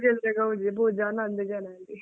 ಗೌಜ್ ಅಂದ್ರೆ ಗೌಜ್ ಎಬೋ ಜನ ಅಂದ್ರೆ ಜನ ಅಲ್ಲಿ .